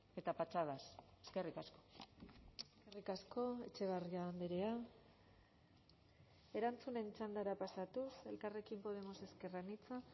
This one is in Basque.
eta patxadaz eskerrik asko eskerrik asko etxebarria andrea erantzunen txandara pasatuz elkarrekin podemos ezker anitza